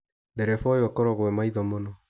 Ndereba ũyũ akorago e maitho mũno.